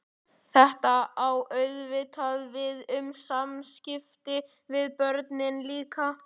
Þetta á auðvitað við um samskipti við börnin líka.